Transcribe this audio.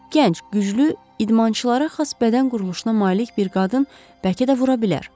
Gənc, güclü, idmançılara xas bədən quruluşuna malik bir qadın bəlkə də vura bilər.